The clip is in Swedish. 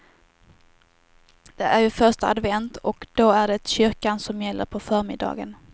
Det är ju första advent och då är det kyrkan som gäller på förmiddagen.